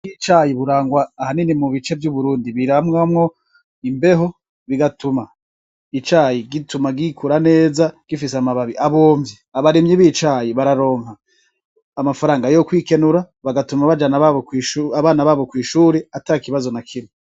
Wicayi burangwa ahanini mu bice vy'uburundi biramwamwo imbeho bigatuma icayi gituma gikura neza gifise amababi abomvye abaremyi bicayi bararonka amafaranga yo kwikenura bagatuma bajanaabana babo kw'ishuri ata ikibazo na kimwe.